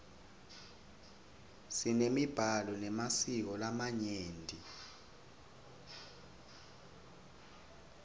simemiblalo memasiko lamanyeni